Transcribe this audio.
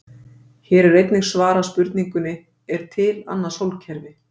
Hér er einnig svarað spurningunni: Er til annað sólkerfi?